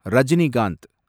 Rajinikanth